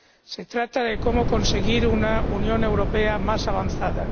Se trata de cómo conseguir una Unión Europea más avanzada.